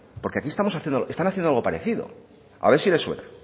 porque aquí están haciendo algo parecido a ver si les suena